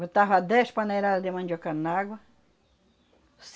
Botava dez paneladas de mandioca na água.